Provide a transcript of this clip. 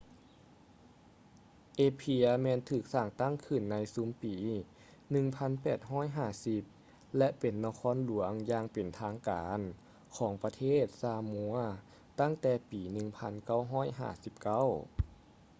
apia ແມ່ນຖືກສ້າງຕັ້ງຂຶ້ນໃນຊຸມປີ 1850 ແລະ ເປັນນະຄອນຫຼວງຢ່າງເປັນທາງການຂອງປະເທດຊາມົວຕັ້ງແຕ່ປີ 1959